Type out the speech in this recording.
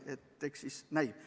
Nii et eks siis näis.